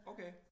Okay